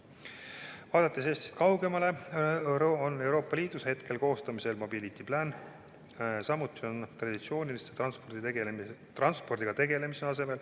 Kui vaadata ka Eestist kaugemale, siis Euroopa Liidus on koostamisel "Mobility Plan".